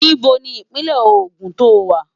Íbo ni Ìpínlẹ̀ Ogun lo wà?